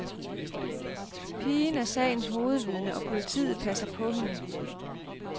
Pigen er sagens hovedvidne, og politiet passer på hende.